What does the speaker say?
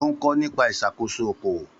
Ó ń kọ́ nípa ìṣàkóso okòwò.